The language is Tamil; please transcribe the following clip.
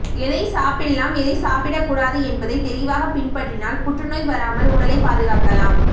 எதை சாப்பிடலாம் எதை சாப்பிடகூடாது என்பதை தெளிவாக பின்பற்றினால் புற்றுநோய் வராமல் உடலை பாதுகாக்கலாம்